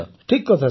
ଠିକ୍ କଥା ସାର୍